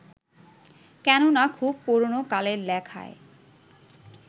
কেননা, খুব পুরোনো কালের লেখায়